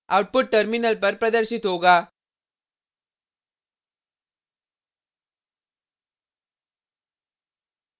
output terminal पर प्रदर्शित होगा